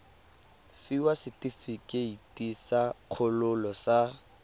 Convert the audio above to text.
fiwa setefikeiti sa kgololo sa